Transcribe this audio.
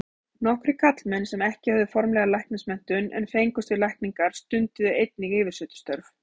Nokkrir karlmenn sem ekki höfðu formlega læknismenntun en fengust við lækningar, stunduðu einnig yfirsetustörf.